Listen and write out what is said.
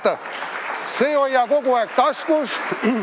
Vaata, see hoia kogu aeg taskus.